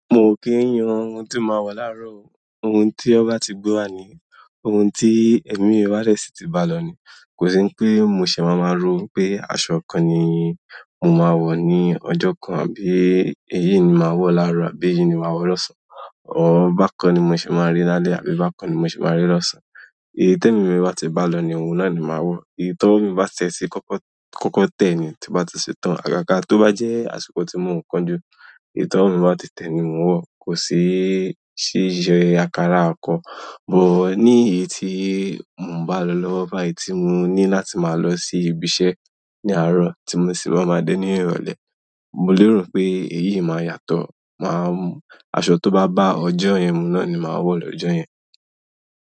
Mo ò kí ń yan ohun tí màá wọ̀ láàárọ̀ o. Ohun ti wọn ba ti gbé wa ni, ohun ti ẹmi mi ba si ti balọ ni kò sí pé mo ṣè máa máa rò pé aṣọ kan nì mo máa wọ̀ ní ọjọ́ kan àbí èyí ni màá wọ̀ láàárọ̀ àbí yìí ni màá wọ̀ lọ́sàn-án. Or, bákan ni mo ṣe máa rí lálẹ́ àbí bákan ni mo ṣe máa rí lọ́sàn-án. Èyí t'ẹmi mi bá ti bá lọ ní òun náà ni màá wọ èyí t'ọwọ mi ba ti ẹ ti kọkọ tẹ ni, tí n bá ti ṣe tán, àgàgà tó bá jẹ́ àsìkò tí mò ń kánjú, èyí t'ọwọ mi bá ti tẹ́ ni mò ń wọ̀. Kò sí ṣíṣe akará akọ. Ní èyí tí mò ń bá lọ lọ́wọ́, bá èyí tí mo ní láti máa lọ sí ibi iṣẹ́ ní àárọ̀ tí mo sì má máa dé ní ìrọ̀lẹ́, mo lérò pé èyí máa yàtọ̀. Màá, aṣọ tó bá bá ọjọ́ yẹn mu náà ni màá wọ̀ lọ́jọ́ yẹn.